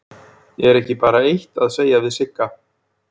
Er ekki bara eitt að segja við Sigga?